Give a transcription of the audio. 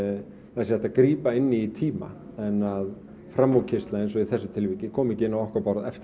hægt sé að grípa inn í tíma en að framúrkeyrsla eins og í þessu tilfelli komi ekki inn á okkar borð eftir